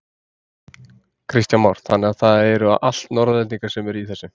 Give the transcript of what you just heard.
Kristján Már: Þannig að þetta eru allt Norðlendingar sem eru í þessu?